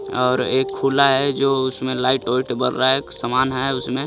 और एक खुला है जो उसमे लाइट बर रहा है समान है उसमे.